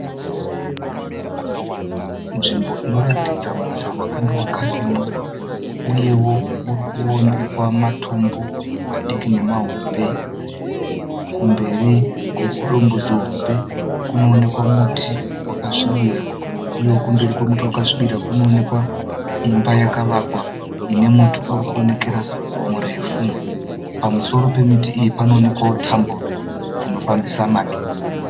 Nzvimbo inoratidza munda wakanga wakarimwa. Uyewo urikuonekwa matombo madiki nemahombe. Kumberi kwezidombo zihombe kunokuonekwa muti wakasvibira. Uyewo kumberi kwemuti wakasvibira kunoonekwa imba yakavakwa ine muti urikuonekera murefu. Pamusoro pemiti iyi panoonekwa tambo dzinofambisa magetsi.